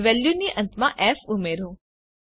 અને વેલ્યુની અંતમાં ફ ઉમેરો